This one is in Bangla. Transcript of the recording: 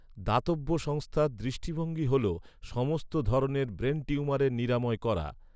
দাতব্য সংস্থার দৃষ্টিভঙ্গি হল, সমস্ত ধরনের ব্রেন টিউমারের নিরাময় করা।